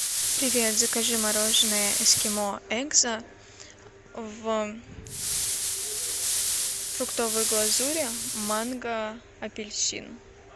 привет закажи мороженое эскимо экзо в фруктовой глазури манго апельсин